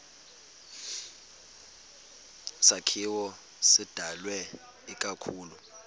sakhiwo sidalwe ikakhulu